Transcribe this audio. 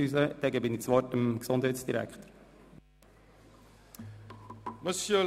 Ich erteile nun dem Gesundheitsdirektor das Wort.